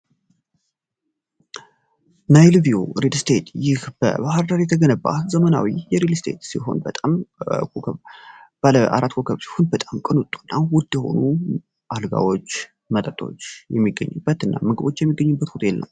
ናይል ቪው ሪል ስቴት ይህ በባህርዳር የተገነባ ዘመናዊ የሬድ ስቴት ሲሆን በጣም በኮከ ባአራት ኮከብች ሁን በጣም ቅኑጡ እና ውድ ሆኑ አልጋዎች መጠጦች የሚገኙበት እና ምግቦች የሚገኙበት ነው።